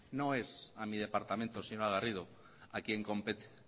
no es a mi departamento señora garrido a quien compete